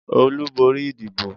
Olú borí ìdìbò?